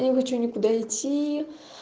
не хочу никуда идти